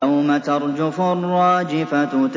يَوْمَ تَرْجُفُ الرَّاجِفَةُ